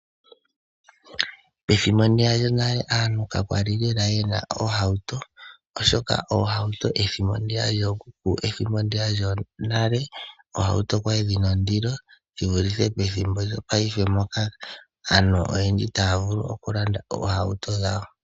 Pethimbo ndiya lyonale aantu ka kwali lela ye na oohauto oshoka oohauto ethimbo ndiya lyookuku ethimbo ndiya lyonale oohauto kwali dhi na ondilo shi vulithe pethimbo lyongaashingeyi ndyoka aantu oyendji taya vulu okulanda oohauto dhawo.